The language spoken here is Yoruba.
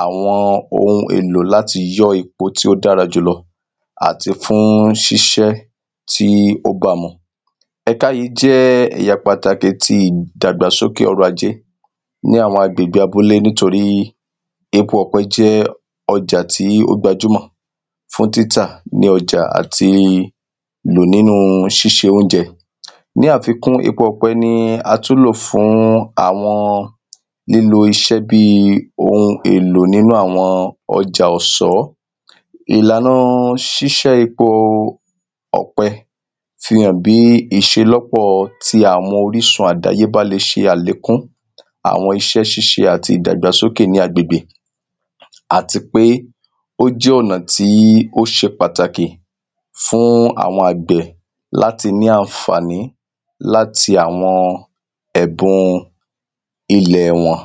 àwo̩n ohun èlò láti yó̩ epo tí ó dára jùlo̩. Àti fún sís̩é̩ tí ó báa mu. È̩ka yí jé̩ è̩yà pàtàkì ti ìdàgbàsókè o̩rò̩-ajé ní àwo̩n agbègbè abúlé. Níotrí epo ò̩pé̩ jé̩ o̩jà tí ó gbàjúmò̩ fún títà ní o̩jà àti lò nínu sís̩e oúnje̩. Ní àfikún, epo ò̩pe̩ ni a tún lò fún àwo̩n lílo is̩é̩ bíi ohun èlò nínú àwo̩n o̩jà ò̩só̩. Ìlànà sís̩é̩ epo ò̩pe̩ fi hàn bí ìs̩eló̩pò̩ ti àmorísùn àdáyébá le s̩e àlékún àwo̩n is̩é̩ àti ìdàgbàsókè ní agbègbè. Àti pé ó jé̩ ò̩nàn tí ó s̩e pàtàkì fún àwo̩n àgbè̩ láti ní àǹfàní láti àwo̩n è̩bun ile̩ wo̩n.